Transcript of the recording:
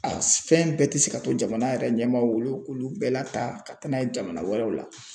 A fɛn bɛɛ tɛ se ka to jamana yɛrɛ ɲɛmaw olu k'olu bɛɛ la ta ka taa n'a ye jamana wɛrɛw la